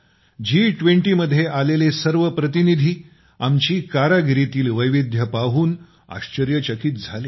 जी २० मध्ये आलेले सर्व प्रतिनिधी आपल्या कारागिरीतील वैविध्य पाहून आश्चर्यचकित झाले